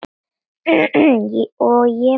og ég mundi ekki.